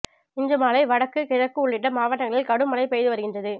இன்று மாலை வடக்கு கிழக்கு உள்ளிட்ட மாவட்டங்களில் கடும் மழை பெய்து வருகின்றது